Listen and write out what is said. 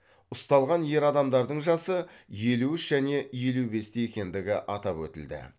ұсталған ер адамдардың жасы елу үш және елу бесте екендігі атап өтілді